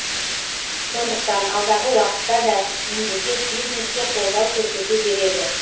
сондықтан алдағы уақытта да мемлекет бизнеске қолдау көрсете береді